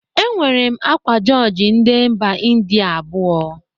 Enwere m akwa jọjị ndị mba Ịndịa abụọ